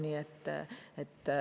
Nii ta on.